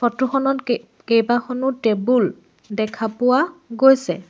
Photo খনত কেই কেইবাখনো টেবুল দেখা পোৱা গৈছে।